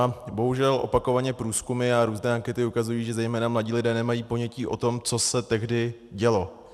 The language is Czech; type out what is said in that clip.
A bohužel opakovaně průzkumy a různé ankety ukazují, že zejména mladí lidé nemají ponětí o tom, co se tehdy dělo.